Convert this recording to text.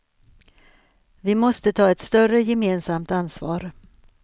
Vi måste ta ett större gemensamt ansvar.